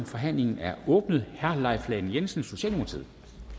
forhandlingen er åbnet herre leif lahn jensen socialdemokratiet